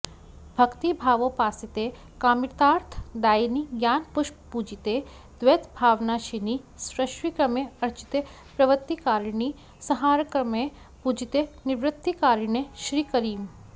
भक्तिभावोपासिते कामितार्थ दायिनि ज्ञानपुष्पपूजिते द्वैतभावनाशिनि सृष्टिक्रमे अर्चिते प्रवृत्तिकारिणि संहारक्रमे पूजिते निवृत्तिकारिणि श्रीकरीम्